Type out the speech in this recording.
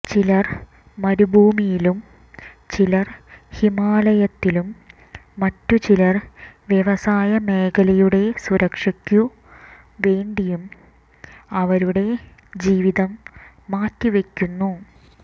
ചിലർ മരുഭൂമിയിലും ചിലർ ഹിമാലയത്തിലും മറ്റു ചിലർ വ്യവസായ മേഖലയുടെ സുരക്ഷയ്ക്കു വേണ്ടിയും അവരുടെ ജീവിതം മാറ്റിവയ്ക്കുന്നു